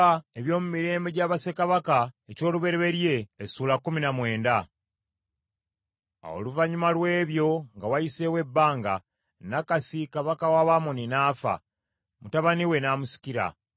Awo oluvannyuma lw’ebyo, nga wayiseewo ebbanga, Nakasi kabaka w’Abamoni n’afa, mutabani we n’amusikira.